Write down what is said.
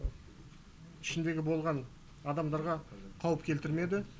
ішіндегі болған адамдарға қауіп келтірмеді